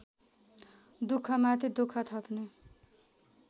दुःखमाथि दुःख थप्ने